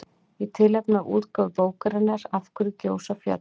Í tilefni af útgáfu bókarinnar Af hverju gjósa fjöll?